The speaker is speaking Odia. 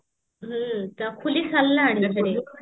ହ୍ମ ତ ଖୋଲି ସରିଲାଣି